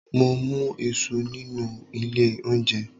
Mo mú Isu nínú ilé oúnjẹ